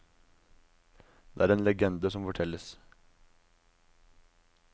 Det er en legende som fortelles.